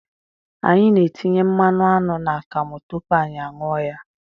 Anyị na-etinye mmanụ aṅụ n'akamụ tupu anyị a ṅụọ ya.